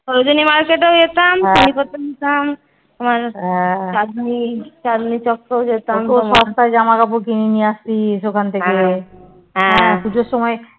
সৌজনি market এও যেতাম